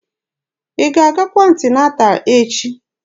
Ị ga-agakwa anti-nata echi?